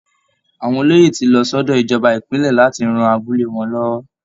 Àwọn olóyè ti lọ sọ́dọ̀ ìjọba ìpínlẹ̀ láti ran abúlé wọn lọ́wọ́